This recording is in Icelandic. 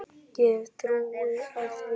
Ég hef trú á því.